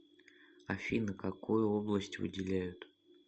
афина какую область выделяют